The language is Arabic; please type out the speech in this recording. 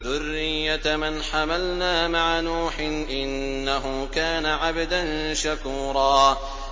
ذُرِّيَّةَ مَنْ حَمَلْنَا مَعَ نُوحٍ ۚ إِنَّهُ كَانَ عَبْدًا شَكُورًا